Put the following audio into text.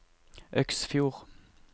Øksfjord